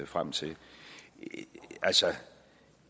frem til altså